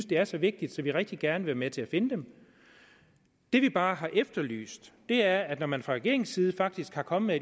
det er så vigtigt at vi rigtig gerne vil være med til at finde dem det vi bare har efterlyst er at når man fra regeringens side faktisk er kommet